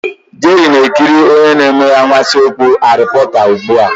Jerry na-ekiri onye na-eme anwansi talk Harry porter ugbu a.